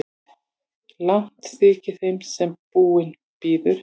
Langt þykir þeim sem búinn bíður.